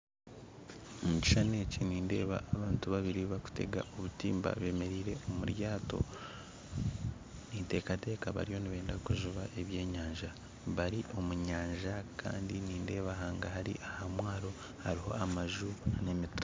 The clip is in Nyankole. Omukishushani eki nindeeba abantu babiri barikutega obutimba bemereire omuryato ninteekateka bariyo nibenda kujuba ebyenyanja bari omunyanja Kandi nindeeba hangahari omumwaro hariho amaju n'emiti